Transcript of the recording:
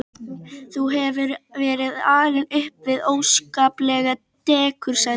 Þú hefur verið alinn upp við óskaplegt dekur sagði hún.